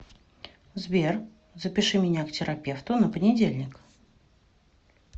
сбер запиши меня к терапевту на понедельник